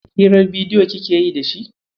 Hirar bidiyo kike yi da shi?